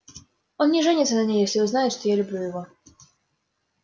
он не женится на ней если узнает что я люблю его